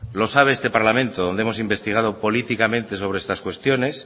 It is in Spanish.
lo sabe este parlamento donde hemos investigado políticamente sobre estas cuestiones